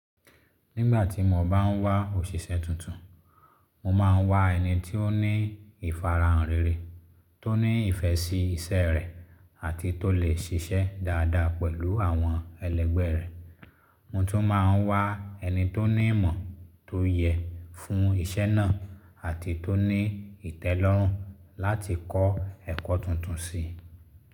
Nígbàtí mo bá ń wá òṣìṣẹ́ tun mo máa ń wá ẹni tó ní ìfarahàn rere tó ní ìfẹ́ ṣe iṣẹ́ rẹ̀ àti tó lè ṣiṣẹ́ dáadáa pẹ̀lú àwọn ẹlẹgbẹ́ rẹ̀. Mo tún máa ń wá ẹni tó ní ìmọ̀ tó yẹ fún iṣẹ́ náà àti tó ní ìtẹ́lọ́rùn láti kọ́ ẹ̀kọ́ tuntun sí i.